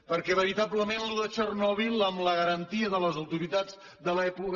perquè veritablement allò de txernòbil amb la garantia de les autoritats de l’època